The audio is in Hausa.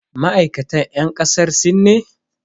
Ma'aikatan yan kasar sin ne?